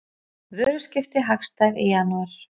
Vöruskipti hagstæð í janúar